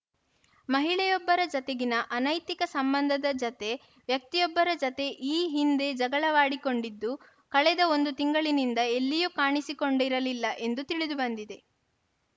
ಮಹಿಳೆಯೊಬ್ಬರ ಜತೆಗಿನ ಅನೈತಿಕ ಸಂಬಂಧದ ಜತೆ ವ್ಯಕ್ತಿಯೊಬ್ಬರ ಜತೆ ಈ ಹಿಂದೆ ಜಗಳವಾಡಿಕೊಂಡಿದ್ದು ಕಳೆದ ಒಂದು ತಿಂಗಳಿನಿಂದ ಎಲ್ಲಿಯೂ ಕಾಣಿಸಿಕೊಂಡಿರಲಿಲ್ಲ ಎಂದು ತಿಳಿದು ಬಂದಿದೆ